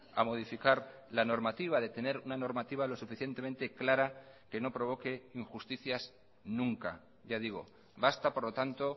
a modificar la normativa de tener una normativa lo suficientemente clara que no provoque injusticias nunca ya digo basta por lo tanto